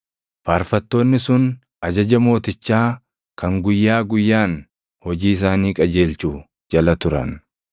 Faarfattoonni sun ajaja mootichaa kan guyyaa guyyaan hojii isaanii qajeelchu jala turan.